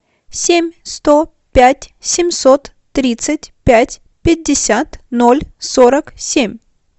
семь сто пять семьсот тридцать пять пятьдесят ноль сорок семь